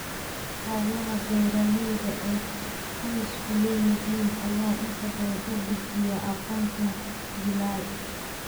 Hawlaha beeralayda ee qoysku leeyihiin ayaa inta badan u gudbiya aqoonta jiilal.